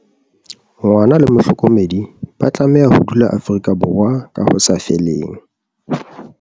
Ngwana le mohlokomedi ba tlameha ho dula Afrika Borwa ka ho sa feleng.